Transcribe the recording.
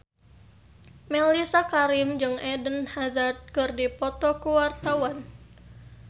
Mellisa Karim jeung Eden Hazard keur dipoto ku wartawan